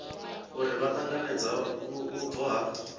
uri vha ṱanganedza vhubvo ha